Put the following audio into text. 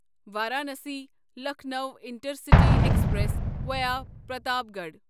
Varanasi Lucknow intercity express via Pratapgarh